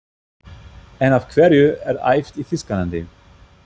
En af hverju er æft í Þýskalandi?